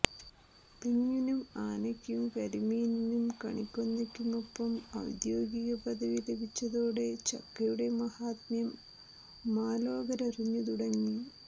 തെങ്ങിനും ആനയ്ക്കും കരിമീനിനും കണിക്കൊന്നയ്ക്കുമൊപ്പം ഔദ്യോഗികപദവി ലഭിച്ചതോടെ ചക്കയുടെ മഹാത്മ്യം മാലോകരറിഞ്ഞുതുടങ്ങി